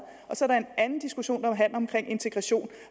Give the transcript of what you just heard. og så er der en anden diskussion der handler om integration